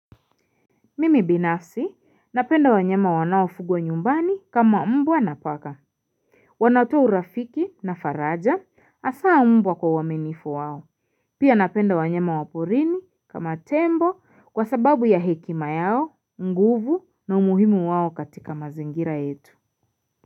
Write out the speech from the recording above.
Mimi binafsi napenda wanyama wanaofugwa nyumbani kama mbwa na paka. Wanatoa urafiki na faraja hasaa mbwa kwa uwaminifu wao. Pia napenda wanyama wa porini kama tembo kwa sababu ya hekima yao, nguvu na umuhimu wao katika mazingira yetu.